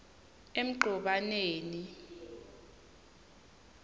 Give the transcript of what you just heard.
emgcobaneni